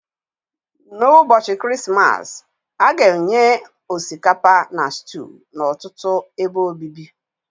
N'ụbọchị Krismas, a ga-enye osikapa na stew n'ọtụtụ ebe obibi